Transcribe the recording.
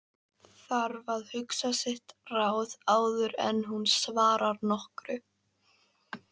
Þarf að hugsa sitt ráð áður en hún svarar nokkru.